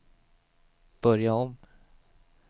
börja om